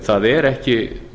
það er ekki